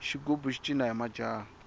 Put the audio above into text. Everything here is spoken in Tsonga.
xigubu xi cina hi majaha